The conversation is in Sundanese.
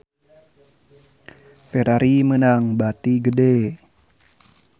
Ferrari meunang bati gede